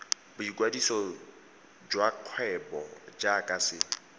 boikwadiso sa kgwebo jaaka se